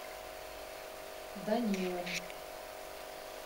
данилом